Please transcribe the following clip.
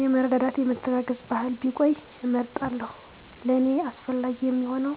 የመረዳዳት የመተጋገዝ ባህል ቢቆይ እመርጣለሁ ለኔ አስፈላጊ የሚሆነዉ